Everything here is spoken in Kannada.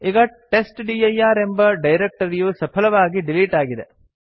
ಈಗ ಟೆಸ್ಟ್ಡಿರ್ ಎಂಬ ಡೈರಕ್ಟರಿಯು ಸಫಲವಾಗಿ ಡಿಲಿಟ್ ಆಗಿದೆ